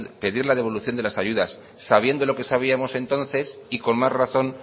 pedir la devolución de las ayudas sabiendo lo que sabíamos entonces y con más razón